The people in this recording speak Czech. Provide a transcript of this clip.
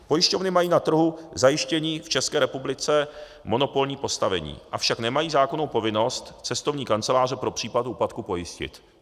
Pojišťovny mají na trhu zajištění v České republice monopolní postavení, avšak nemají zákonnou povinnost cestovní kanceláře pro případ úpadku pojistit.